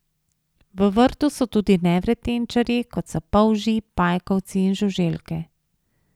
V vrtu so tudi nevretenčarji kot so polži, pajkovci in žuželke.